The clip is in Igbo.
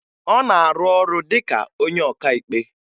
Ọ na-arụ ọrụ dị ka onye ọkaikpe